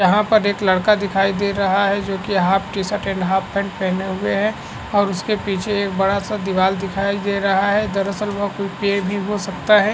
यहाँ पर एक लड़का दिखाई दे रहा हैजो की half T shirt and half pant पहने हुए है और उसके पीछे एक बड़ा सा दीवाल दिखाई दे रहा है दरअसल वह कोई पेड़ भी हो सकता है।